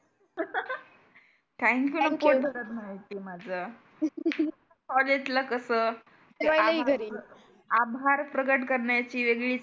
Thank you ने पोट भरत नाही माझं. कॉलेजला कसं आभार प्रकट करण्याची वेगळी